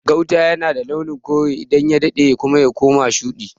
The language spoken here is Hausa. Gauta yana da launin kore, idan ya daɗe kuma y akoma shuɗi.